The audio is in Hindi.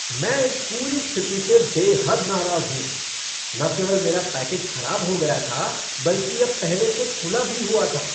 मैं इस पूरी स्थिति से बेहद नाराज़ हूँ। न केवल मेरा पैकेज खराब हो गया था, बल्कि यह पहले से खुला भी हुआ था!